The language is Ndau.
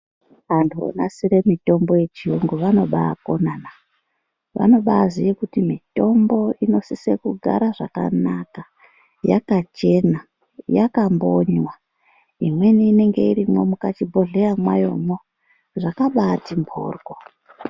Antu vonasire mitombo yechiyungu vanobakonanaa vanobaziye kuti mitombo inosise kugara zvakanaka yakachena, yakambonywa. Imweni inonga irimwo mukachibhohleya mwayomwo zvakabati mboryo.